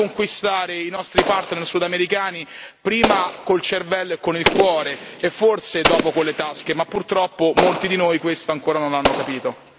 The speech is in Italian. Dobbiamo conquistare i nostri partner sudamericani prima col cervello e con il cuore e forse dopo con le tasche, ma purtroppo molti di noi questo ancora non l'hanno capito.